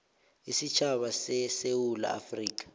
isitjhaba sesewula afrika